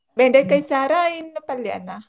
ಬೆಂಡೆಕಾಯಿ ಸಾರಾ ಇಲ್ಲ ಪಲ್ಯಾನ?